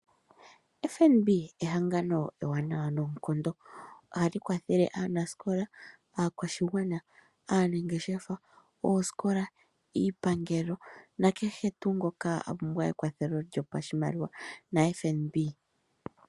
FNB ehangano ewaanawa noonkondo. Ohali kwathele aanasikola, aakwashigwana, aanangeshefa, oosikola, iipangelo na kehe tuu ngoka apumbwa ekwatho lyopashimaliwa no mbaanga oyo tuu ndjika.